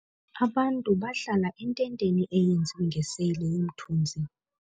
Abantu bahlala ententeni eyenziwe ngeseyile yomthunzi.